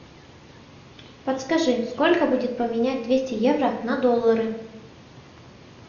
подскажи сколько будет поменять двести евро на доллары